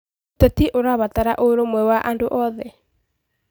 ũteti ũrabatara ũrũmwe wa andũ oothe.